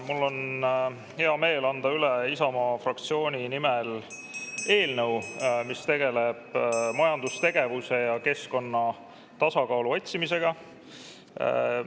Mul on hea meel anda üle Isamaa fraktsiooni nimel eelnõu, mis tegeleb majandustegevuse ja keskkonna tasakaalu otsimisega.